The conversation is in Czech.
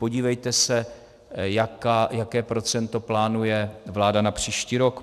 Podívejte se, jaké procento plánuje vláda na příští rok.